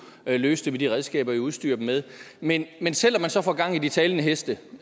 løse det med de redskaber i udstyrer dem med men men selv om man så får gang i de talende heste